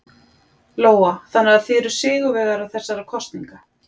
Lóa: Þannig að þið eruð sigurvegarar þessara kosninga?